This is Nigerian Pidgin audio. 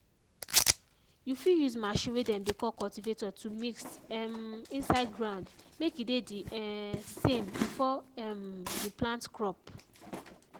you fit use machine way dem dey call cultivator to mix um inside ground make e dey the um same before um you plant crop.